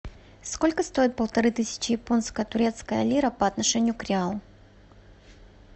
сколько стоит полторы тысячи японско турецкая лира по отношению к реалу